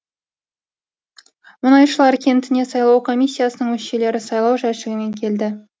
мұнайшылар кентіне сайлау комиссиясының мүшелері сайлау жәшігімен келді